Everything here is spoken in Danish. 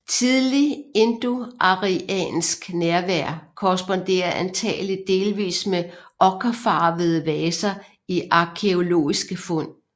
Tidlig indoariansk nærvær korresponderer antagelig delvis med okkerfarvede vaser i arkæologiske fund